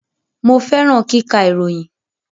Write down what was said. Mo fẹràn kíkà ìròyìn